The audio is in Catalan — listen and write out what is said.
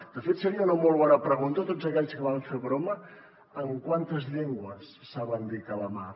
de fet seria una molt bona pregunta a tots aquells que van fer broma en quantes llengües saben dir calamar